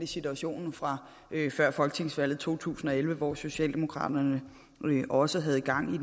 situationen fra før folketingsvalget to tusind og elleve hvor socialdemokraterne også havde gang i